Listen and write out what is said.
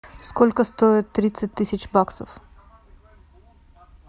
сколько стоит тридцать тысяч баксов